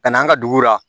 Ka na an ka dugu la